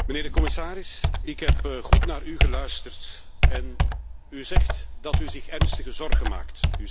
Mijnheer de commissaris, ik heb goed naar u geluisterd en u zegt dat u zich ernstig zorgen maakt.